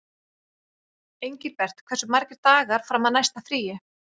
Engilbert, hversu margir dagar fram að næsta fríi?